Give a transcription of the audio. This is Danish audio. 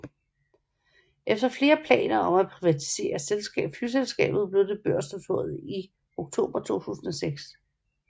Efter flere planer om at privatisere flyselskabet blev det børsnoteret i oktober 2006